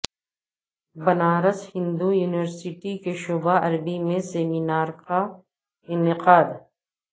Banaras Hindu university کے شعبہ عربی میں سیمینار کا انعقاد